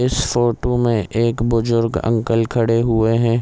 इस फोटो में एक बुजुर्ग अंकल खड़े हुए हैं।